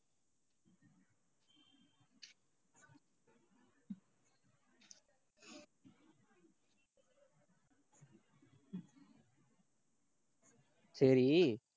சரி